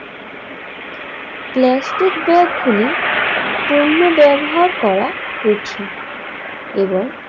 plastic ব্যাগগুলি পণ্য ব্যবহার করা কঠিন এবং